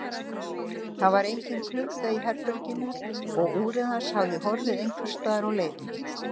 Það var engin klukka í herberginu og úrið hans hafði horfið einhvers staðar á leiðinni.